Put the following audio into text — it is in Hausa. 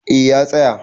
A ya tsaya